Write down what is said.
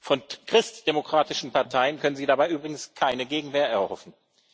Von christdemokratischen Parteien können Sie dabei übrigens keine Gegenwehr erhoffen.